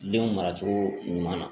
Denw mara cogo ɲuman na